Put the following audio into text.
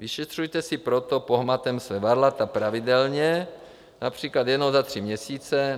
Vyšetřujte si proto pohmatem svá varlata pravidelně, například jednou za tři měsíce.